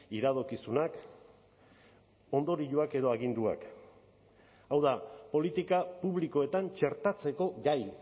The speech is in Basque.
iradokizunak ondorioak edo aginduak hau da politika publikoetan txertatzeko gai